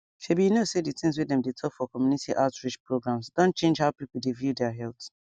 shebi you know say the things wey dem dey talk for community outreach programs don change how people dey view their health